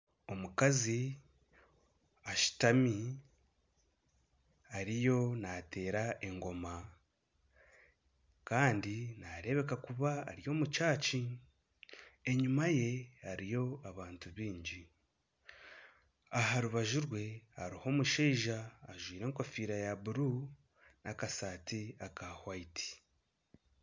Omukazi ashutami eriyo naateera engooma kandi nareebeka kuba ari omu kanisa enyuma ye hariyo abantu bingi aha rubaju rwe hariho omushaija ajwaire enkofiira ya buru n'akasaati aka hwayiti